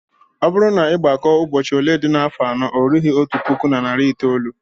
Ọ bụrụ na ị gbakọọ ụbọchị ole dị n'afọ anọ, o rughị otu puku na narị itoolu